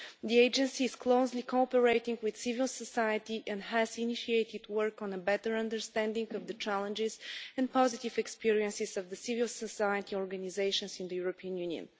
The agency is closely cooperating with civil society and has initiated work on a better understanding of the challenges and positive experiences of civil society organisations in the European Union.